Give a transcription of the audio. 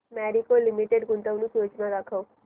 Marico limited गुंतवणूक योजना दाखव